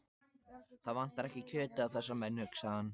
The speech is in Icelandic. Það vantar ekki kjötið á þessa menn, hugsaði hann.